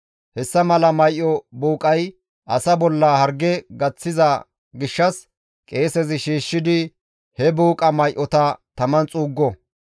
Hessa mala may7o buuqay asa bolla harge gaththiza gishshas qeesezi shiishshidi he buuqa may7ota taman xuuggo.